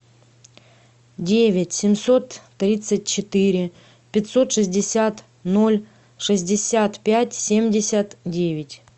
девять семьсот тридцать четыре пятьсот шестьдесят ноль шестьдесят пять семьдесят девять